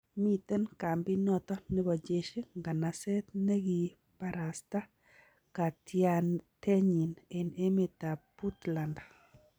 Miten kambinoton nebo jeshi nganaseet nengiibarasta katianatenyin en emet ab Puntland.